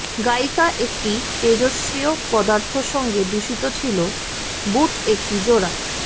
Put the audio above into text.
গায়িকা একটি তেজস্ক্রিয় পদার্থ সঙ্গে দূষিত ছিল বুট একটি জোড়া